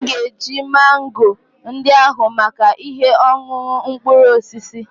Anyị ga-eji mango ndị ahụ maka ihe ọṅụṅụ mkpụrụ osisi